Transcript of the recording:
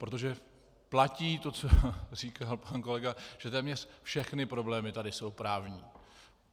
Protože platí to, co říkal pan kolega, že téměř všechny problémy tady jsou právní.